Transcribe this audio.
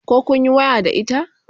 koh kunyi waya da ita?